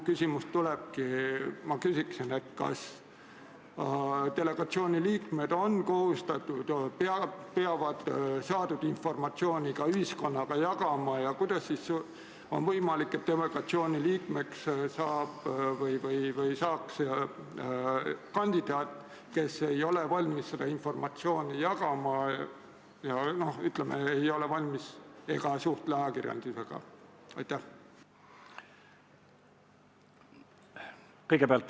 Ma küsin, kas delegatsiooni liikmed on kohustatud saadud informatsiooni ka ühiskonnaga jagama ja kuidas siis on võimalik, et delegatsiooni liikmeks saab või saaks kandidaat, kes ei ole valmis seda informatsiooni jagama ega ole valmis ajakirjandusega suhtlema ega suhtle.